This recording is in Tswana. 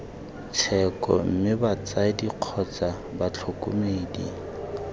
tsheko mme batsadi kgotsa batlhokomedi